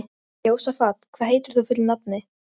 Roði hljóp í kinnar síra Birni.